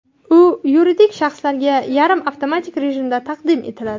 U yuridik shaxslarga yarim avtomatik rejimda taqdim etiladi.